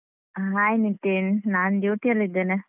Hai Nitin, ನಾನ್ duty ಯಲ್ಲಿ ಇದ್ದೇನೆ.